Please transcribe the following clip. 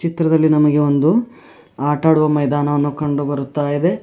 ಚಿತ್ರದಲ್ಲಿ ನಮಗೆ ಒಂದು ಆಟ ಆಡುವ ಮೈದಾನವನ್ನು ಕಂಡು ಬರುತ್ತಾ ಇದೆ.